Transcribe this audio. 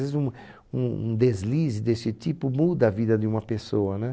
Às vezes um um um deslize desse tipo muda a vida de uma pessoa né